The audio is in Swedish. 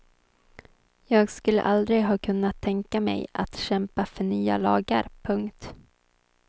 Jag skulle aldrig ha kunnat tänka mig att kämpa för nya lagar. punkt